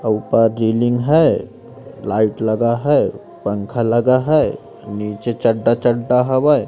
ऊपर रीलिंग है लाइट लगा है पंखा लगा है नीचे चड्ढा चड्ढा हवै--